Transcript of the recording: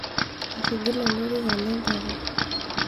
etigile olorika le mpapa